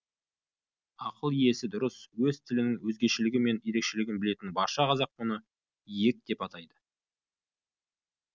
ақыл есі дұрыс өз тілінің өзгешелігі мен ерекшелігін білетін барша қазақ мұны ійек деп айтады